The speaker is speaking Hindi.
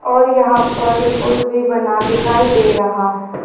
और यहां पर पुल भी बना दिखाई दे रहा है।